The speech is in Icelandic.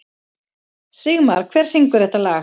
Sigmar, hver syngur þetta lag?